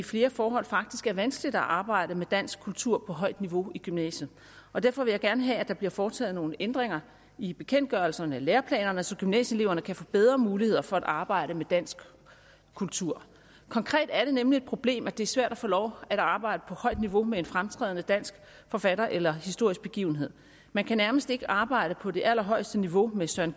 flere forhold faktisk er vanskeligt at arbejde med dansk kultur på højt niveau i gymnasiet og derfor vil jeg gerne have at der bliver foretaget nogle ændringer i bekendtgørelserne og læreplanerne så gymnasieeleverne kan få bedre muligheder for at arbejde med dansk kultur konkret er det nemlig et problem at det er svært at få lov at arbejde på højt niveau med en fremtrædende dansk forfatter eller historisk begivenhed man kan nærmest ikke arbejde på det allerhøjeste niveau med søren